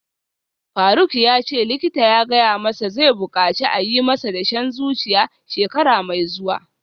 Faruk yace likita ya gaya masa zai bukaci a yi masa dashen zuciya shekara mai zuwa